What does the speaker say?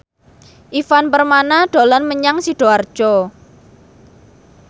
Ivan Permana dolan menyang Sidoarjo